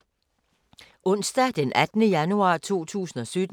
Onsdag d. 18. januar 2017